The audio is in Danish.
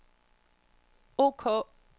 ok